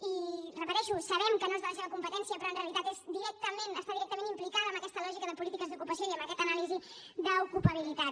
i ho repeteixo sabem que no és de la seva competència però en realitat està directament implicada en aquesta lògica de polítiques d’ocupació i en aquesta anàlisi d’ocupabilitat